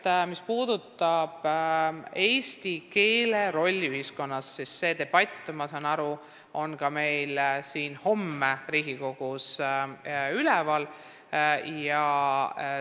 Kõigepealt, mis puudutab eesti keele rolli ühiskonnas, siis selleteemaline debatt, ma saan aru, on homme ka siin Riigikogus üleval.